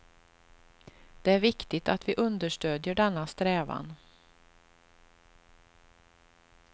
Det är viktigt att vi understödjer denna strävan.